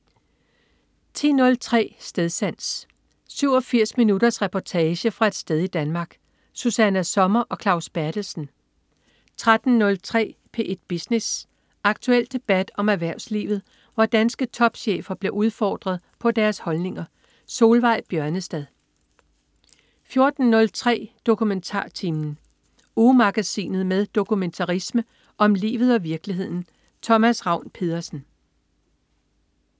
10.03 Stedsans. 87 minutters reportage fra et sted i Danmark. Susanna Sommer og Claus Berthelsen 13.03 P1 Business. Aktuel debat om erhvervslivet, hvor danske topchefer bliver udfordret på deres holdninger. Solveig Bjørnestad 14.03 DokumentarTimen. Ugemagasinet med dokumentarisme om livet og virkeligheden. Thomas Ravn-Pedersen